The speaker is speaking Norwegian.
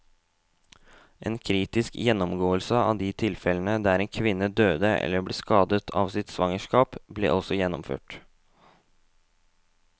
En kritisk gjennomgåelse av de tilfellene der en kvinne døde eller ble skadet av sitt svangerskap, ble også gjennomført.